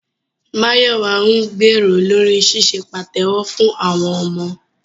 Máyọ̀wà ń gbèrò lórí ṣíṣe pàtẹ́wọ́ fún àwọn ọmọ